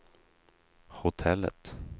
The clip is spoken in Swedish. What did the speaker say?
hotellet